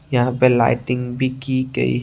यहां पे लाइटिंग भी की गई--